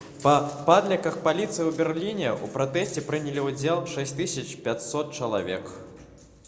па падліках паліцыі ў берліне ў пратэсце прынялі ўдзел 6500 чалавек